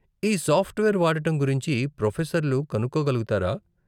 ఈ సాఫ్ట్వేర్ వాడటం గురించి ప్రోఫెసర్లు కనుక్కోగలుగుతారా?